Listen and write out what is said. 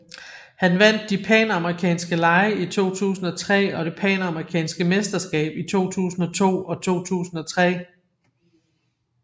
Han vandt de panamerikanske lege i 2003 og det panamerikanske mesterskab i 2002 og 2003